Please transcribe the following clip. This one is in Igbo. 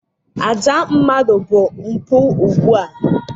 Àjà mmadụ bụ mpụ ugbu a